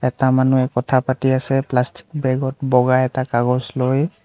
এটা মানুহে কথা পাতি আছে প্লাষ্টিক বেগ ত বগা এটা কাগজ লৈ।